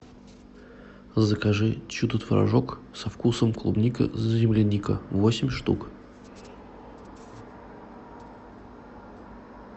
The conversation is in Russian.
закажи чудо творожок со вкусом клубника земляника восемь штук